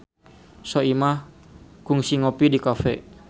Soimah kungsi ngopi di cafe